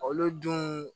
Olu dun